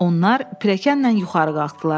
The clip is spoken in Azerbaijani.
Onlar pilləkənlə yuxarı qalxdılar.